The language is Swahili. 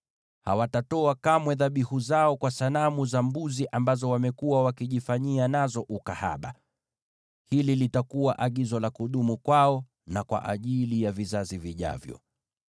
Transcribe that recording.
Hawatatoa kamwe dhabihu zao kwa sanamu za mbuzi ambazo wamekuwa wakijifanyia nazo ukahaba. Hili litakuwa agizo la kudumu kwao na kwa ajili ya vizazi vijavyo.’